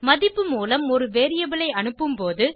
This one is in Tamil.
மதிப்பு மூலம் ஒரு வேரியபிள் ஐ அனுப்பும் போது